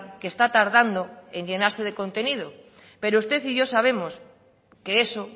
que está tardando en llenarse de contenido pero usted y yo sabemos que eso